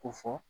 Ko fɔ